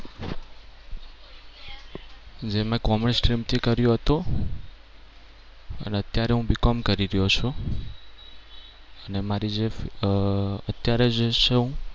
જે મે commerce stream થી કર્યું હતું. અને અત્યારે હું BCOM કરી રહ્યો છું. અને મારી જે અમ અત્યારે જે છું હું